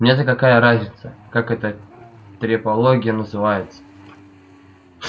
мне-то какая разница как эта трепология называется